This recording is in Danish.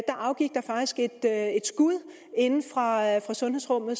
afgivet et skud inde fra sundhedsrummet